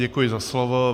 Děkuji za slovo.